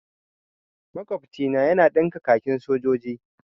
Makwabcina yana ɗinka kakin sojoji.